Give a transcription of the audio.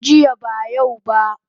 Jiya ba yau ba